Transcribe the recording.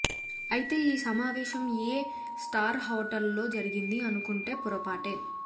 అయితే ఈ సమావేశం ఏ స్టార్ హోటల్లో జరిగింది అనుకుంటే పొరపాటే